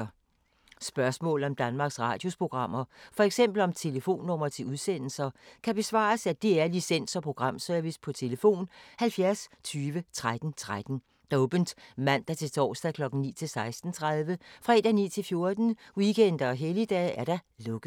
Spørgsmål om Danmarks Radios programmer, f.eks. om telefonnumre til udsendelser, kan besvares af DR Licens- og Programservice: tlf. 70 20 13 13, åbent mandag-torsdag 9.00-16.30, fredag 9.00-14.00, weekender og helligdage: lukket.